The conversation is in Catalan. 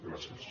gràcies